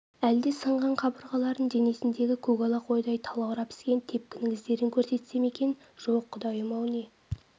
әлде сынған қабырғаларын денесіндегі көкала қойдай талаурап іскен тепкінің іздерін көрсетсе ме екен жоқ құдайым-ау не